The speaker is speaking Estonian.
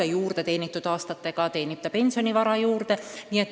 Aga juurde teenitud aastatega teenib ta pensionivara juurde.